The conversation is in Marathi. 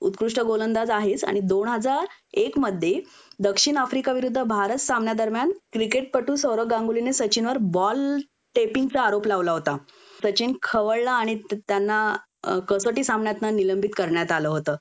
उत्कृष्ट गोलंदाज आहेच आणि दोन हजार एक मध्ये दक्षिण आफ्रिका विरुद्ध भारत सामन्या दरम्यान क्रिकेटपटू सौरव गांगुलीने सचिनवर बॉल टेपिंग चा आरोप लावला होता.सचिन खवळला आणि त्यांना कसोटी सामन्यातनं निलंबित करण्यात आलं होत